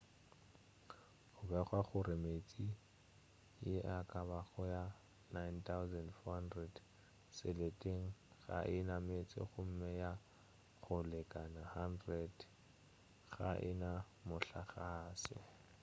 go begwa gore metse ye e ka bago ye 9400 seleteng ga e na meetse gomme ya go lekana 100 ga e na mohlagase